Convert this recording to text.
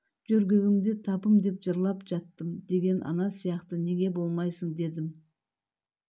жөргегімде табым деп жырлап жаттым деген ана сияқты неге болмайсың дедңм